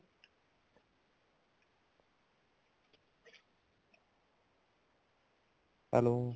hello